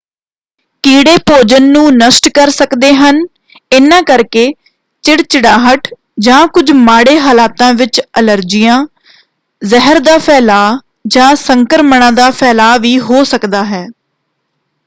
ਕੀੜੇ ਭੋਜਨ ਨੂੰ ਨਸ਼ਟ ਕਰ ਸਕਦੇ ਹਨ ਇਹਨਾਂ ਕਰਕੇ ਚਿੜਚਿੜਾਹਟ ਜਾਂ ਕੁਝ ਮਾੜੇ ਹਾਲਾਤਾਂ ਵਿੱਚ ਅਲਰਜੀਆਂ ਜ਼ਹਿਰ ਦਾ ਫੈਲਾਅ ਜਾਂ ਸੰਕਰਮਣਾਂ ਦਾ ਫੈਲਾਅ ਵੀ ਹੋ ਸਕਦਾ ਹੈ।